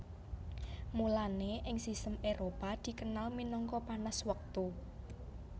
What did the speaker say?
Mulane ing sistem Éropah dikenal minangka panas Wektu